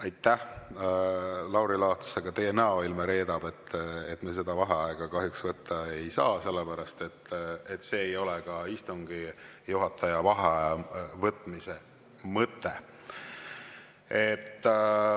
Aitäh, Lauri Laats, aga teie näoilme reedab, et me seda vaheaega kahjuks võtta ei saa, sellepärast et see ei ole ka istungi juhataja vaheaja võtmise mõte.